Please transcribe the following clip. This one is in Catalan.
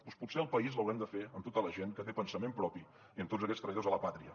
doncs potser el país l’haurem de fer amb tota la gent que té pensament propi i amb tots aquests traïdors a la pàtria